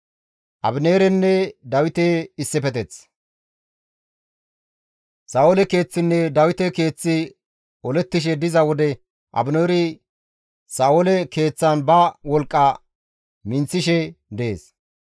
Sa7oole keeththinne Dawite keeththi olettishe diza wode Abineeri Sa7oole keeththan ba wolqqa minththishe dees.